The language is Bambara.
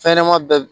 Fɛnɲɛnɛma bɛɛ